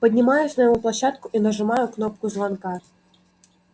поднимаюсь на его площадку и нажимаю кнопку звонка